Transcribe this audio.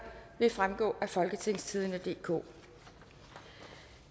vil fremgå af folketingstidende DK